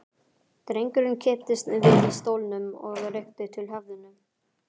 Drengurinn kipptist við í stólnum og rykkti til höfðinu.